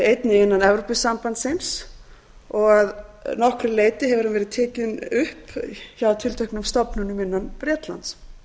einnig innan evrópusambandsins og að nokkru leyti hefur hann verið tekinn upp hjá tilteknum stofnunum innan bretlands